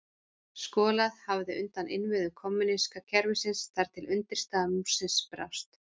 Skolað hafði undan innviðum kommúníska kerfisins þar til undirstaða múrsins brást.